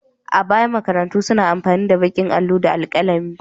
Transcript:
A baya, makarantu suna amfani da baƙin allo da alƙalami.